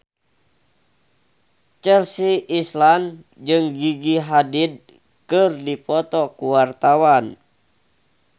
Chelsea Islan jeung Gigi Hadid keur dipoto ku wartawan